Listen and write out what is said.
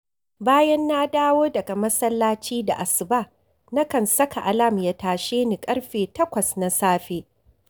Bayan na dawo daga masallaci da asuba, nakan saka alam ya tashe ni ƙarfe takwas na safe